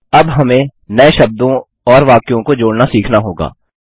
अब हमें नए शब्दों और वाक्यों को जोड़ना सीखना होगा